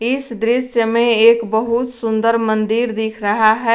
इस दृश्य में एक बहुत सुंदर मंदिर दिख रहा है।